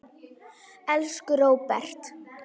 Elsku Róbert.